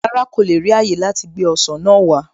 Rárá, kò le ri ààyè láti gbé ọsàn náà wá